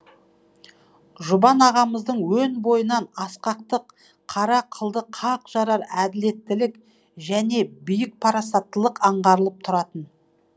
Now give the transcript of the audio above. жұбан ағамыздың өн бойынан асқақтық қара қылды қақ жарар әділеттілік және биік парасаттылық аңғарылып тұратын